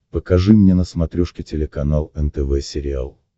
покажи мне на смотрешке телеканал нтв сериал